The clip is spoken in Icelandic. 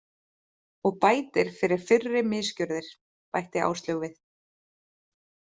Og bætir fyrir fyrri misgjörðir, bætti Áslaug við.